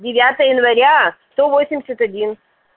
девятое января сто восемьдесят один